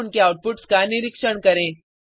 और उनके आउटपुट्स का निरीक्षण करें